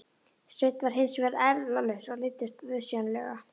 Sveinn var hins vegar eirðarlaus og leiddist auðsjáanlega.